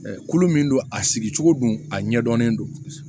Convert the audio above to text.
Kulo min don a sigicogo don a ɲɛdɔnnen don